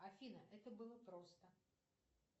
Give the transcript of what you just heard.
афина это было просто